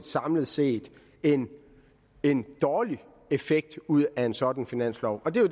samlet set en en dårlig effekt ud af en sådan finanslov og det